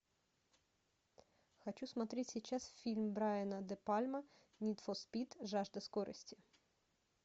хочу смотреть сейчас фильм брайана де пальма нид фор спид жажда скорости